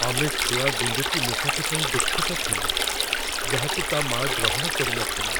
ଆମେ ଛୁଆ ଗୁଣ୍ଡୁଚି ମୂଷାଟି ପାଇଁ ଦୁଃଖିତ ଥିଲୁ ଯାହାକୁ ତା' ମାଆ ଗ୍ରହଣ କରିନଥିଲା।